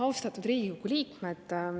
Austatud Riigikogu liikmed!